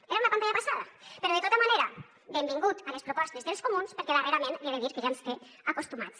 era una pantalla passada però de tota manera benvingut a les propostes dels comuns perquè darrerament li he de dir que ja ens té acostumats